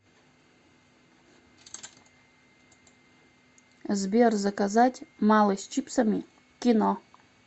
сбер заказать малый с чипсами к кино